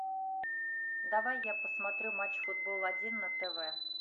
давай я посмотрю матч футбол один на тв